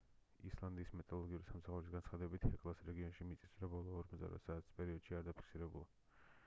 ისლანდიის მეტეოროლოგიური სამსახურის განცხადებით ჰეკლას რეგიონში მიწისძვრა ბოლო 48 საათის პერიოდში არ დაფიქსირებულა